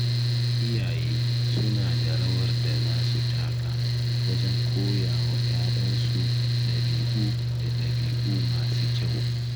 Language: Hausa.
Iyaye suna da rawar da za su taka wajen koya wa ‘ya’yansu ɗabi’u da ɗabi’u masu kyau.